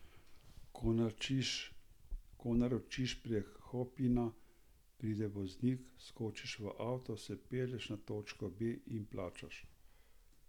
Ko naročiš prek Hopina, pride voznik, skočiš v avto, se pelješ na točko B in plačaš.